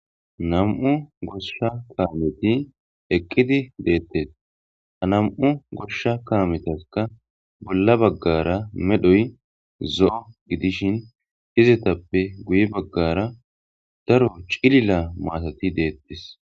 Nami'u goshsha kaameti eqqidi deettes. Ha nami'u goshsha kaametaskka bolla baggara medhoy zo'o gidishin izetappe guye baggara daro cilila maatati deettes.